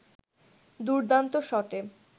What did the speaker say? দুর্দান্ত শটে